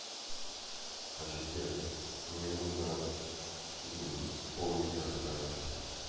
ассистент мне нужно пол литра спрайта